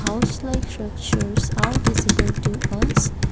house like structures are visible to us.